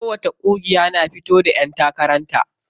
Kowacce ƙungiya na fito da ƴan takaran ta.